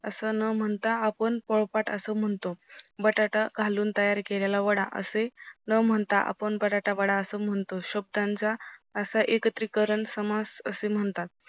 असं न म्हणता आपण पोळपाट असं म्हणतो, बटाटा घालून तयार केलेला वडा असे न म्हणता, आपण बटाटा वडा असं म्हणतो, शब्दांचा असं एकत्रीकरण समास असे म्हणतात.